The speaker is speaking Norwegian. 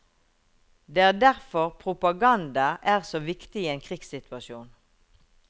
Det er derfor propaganda er så viktig i en krigssituasjon.